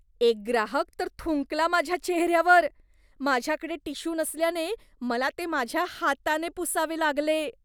एक ग्राहक तर थुंकला माझ्या चेहऱ्यावर. माझ्याकडे टिश्यू नसल्याने, मला ते माझ्या हाताने पुसावे लागले.